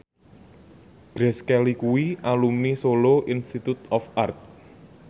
Grace Kelly kuwi alumni Solo Institute of Art